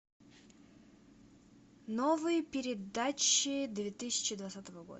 новые передачи две тысячи двадцатого года